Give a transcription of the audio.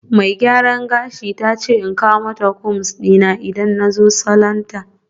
Mai gyaran gashi ta ce in kawo combs dina in na zo salon ta